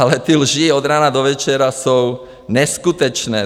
Ale ty lži od rána do večera jsou neskutečné!